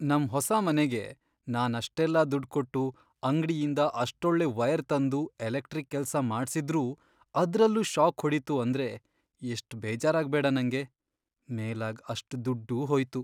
ನಮ್ ಹೊಸ ಮನೆಗೆ ನಾನ್ ಅಷ್ಟೆಲ್ಲ ದುಡ್ಡ್ ಕೊಟ್ಟು ಅಂಗ್ಡಿಯಿಂದ ಅಷ್ಟೊಳ್ಳೆ ವೈರ್ ತಂದು ಎಲೆಕ್ಟ್ರಿಕ್ ಕೆಲ್ಸ ಮಾಡ್ಸಿದ್ರೂ ಅದ್ರಲ್ಲೂ ಷಾಕ್ ಹೊಡೀತು ಅಂದ್ರೆ ಎಷ್ಟ್ ಬೇಜಾರಾಗ್ಬೇಡ ನಂಗೆ! ಮೇಲಾಗ್ ಅಷ್ಟ್ ದುಡ್ಡೂ ಹೋಯ್ತು.